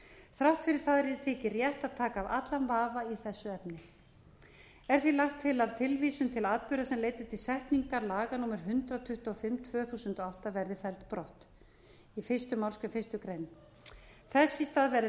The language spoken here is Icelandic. þrátt fyrir það þykir rétt til þess að taka af allan vafa í þessu efni er því lagt til að tilvísun til atburða er leiddu til setningar laga númer hundrað tuttugu og fimm tvö þúsund og átta verði felld brott í fyrstu málsgrein fyrstu greinar þess í stað verði